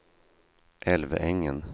Älvängen